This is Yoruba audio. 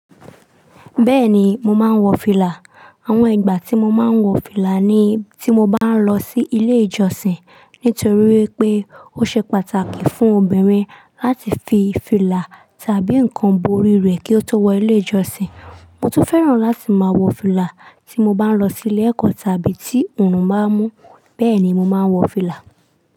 Bẹ́ẹ̀ni, mo máa ń wọ fìlà. Àwọn ìgbà tí mo máa ń wọ fìlà ní tí mo bá ń lọ sí ilé ìjọsìn. Nítorí pé ó ṣe pàtàkì fún obìnrin láti fi fìlà tàbí nǹkan borí rẹ̀ kí ó tó wọ ilé ìjọsìn. Mo tún fẹ́ràn láti máa wọ fìlà tí mo bá ń lọ sí ilé ẹ̀kọ́ tàbí tí òòrùn bá mú. Bẹ́ẹ̀ ni mo máa ń wọ fìlà.